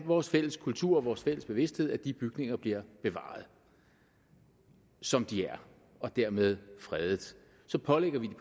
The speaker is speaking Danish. vores fælles kultur og vores fælles bevidsthed at de bygninger bliver bevaret som de er og dermed fredet så pålægger vi